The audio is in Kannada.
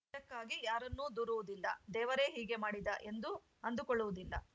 ಇದಕ್ಕಾಗಿ ಯಾರನ್ನೂ ದೂರುವುದಿಲ್ಲ ದೇವರೇ ಹೀಗೆ ಮಾಡಿದ ಎಂದೂ ಅಂದುಕೊಳ್ಳುವುದಿಲ್ಲ